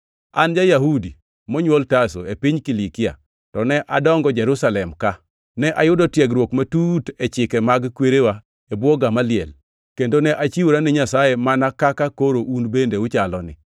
“An ja-Yahudi monywol Tarso, e piny Kilikia, to ne adongo Jerusalem ka. Ne ayudo tiegruok matut e chike mag kwerewa e bwo Gamaliel, kendo ne achiwora ne Nyasaye mana kaka koro un bende uchaloni.